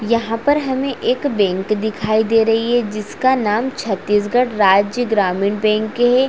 यहाँ पर हमें एक बैंक दिखाई दे रही है जिस का नाम छत्तीसगढ़ राज्य ग्रामीण बैंक है।